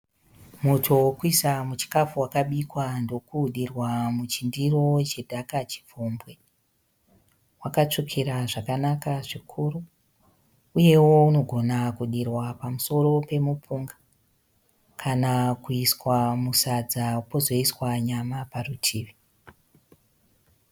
Muto wekuisa muchikafu wakabikwa ndokudirwa muchindiro chedha ka chipfumbwi. Wakatsvukira zvakanaka zvikuru. Uyewo unogona kudirwa pamusoro pemupunga. Kana kuiswa musadza pozoiswa nyama parutivi.